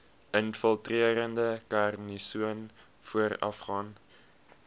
infiltrerende karsinoom voorafgaan